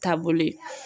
Taabolo ye